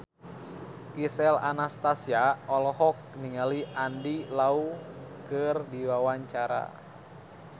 Gisel Anastasia olohok ningali Andy Lau keur diwawancara